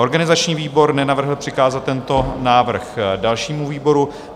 Organizační výbor nenavrhl přikázat tento návrh dalšímu výboru.